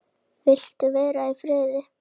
Vildi vera í friði.